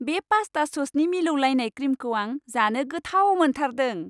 बे पास्ता ससनि मिलौलायनाय क्रिमखौ आं जानो गोथाव मोनथारदों।